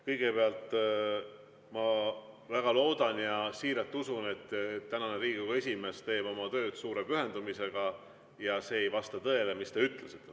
Kõigepealt, ma väga loodan ja siiralt usun, et tänane Riigikogu esimees teeb oma tööd suure pühendumisega ja see ei vasta tõele, mis te ütlesite.